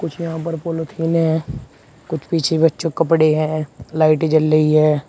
कुछ यहां पर पोलोथीने हैं कुछ पीछे बच्चों के कपड़े हैं लाइटें जल रही हैं।